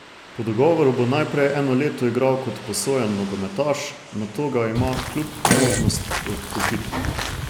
Po dogovoru bo najprej eno leto igral kot posojen nogometaš, nato ga ima klub možnost odkupiti.